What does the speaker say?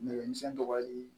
Nɛgɛmisɛnnin dɔgɔyali